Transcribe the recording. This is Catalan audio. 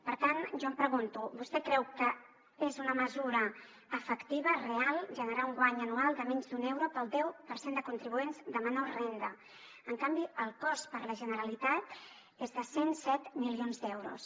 per tant jo em pregunto vostè creu que és una mesura efectiva real generar un guany anual de menys d’un euro per al deu per cent de contribuents de menor renda en canvi el cost per a la generalitat és de cent i set milions d’euros